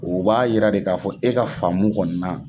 O b'a yira de k'a fɔ e ka faamu kɔni na